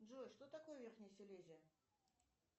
джой что такое верхняя селезия